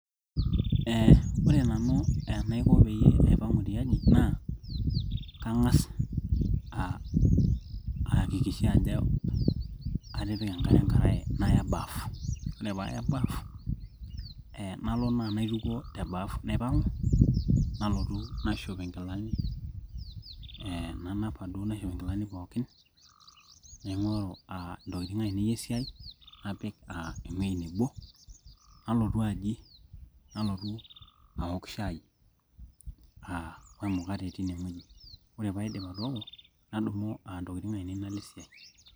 Eeh ore nanu enaiko peyie aipang'u tiaji naa kang'as aaakikisha ajo atipika enkare ankarae naya baaf ore paaya bafu eeh nalo naa naitukuo te baff naipang'u nalotu naishop ikilani eeh nanapa duo naishop inkilani pookin naing'oru aa intokitin ainei esiai napik aa ewueji nebo nalotu aji nalotu aok shai aa wemukate tine wueji ore paidip atooko nadumu aa intokitin ainei nalo esiai.